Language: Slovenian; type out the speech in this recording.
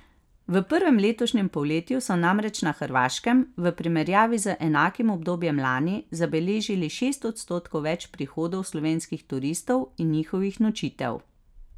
V prvem letošnjem polletju so namreč na Hrvaškem v primerjavi z enakim obdobjem lani zabeležili šest odstotkov več prihodov slovenskih turistov in njihovih nočitev.